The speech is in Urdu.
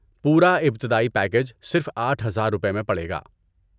پورا ابتدائی پیکیج صرف آٹھ ہزار روپے میں پڑے گا